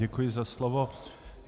Děkuji za slovo.